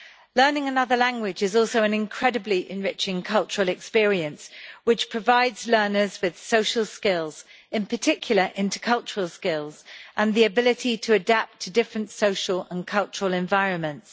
Learning another language is also an incredibly enriching cultural experience which provides learners with social skills in particular intercultural skills and the ability to adapt to different social and cultural environments.